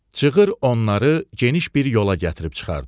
Çığır onları geniş bir yola gətirib çıxardı.